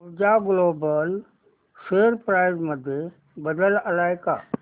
ऊर्जा global share price मध्ये बदल आलाय का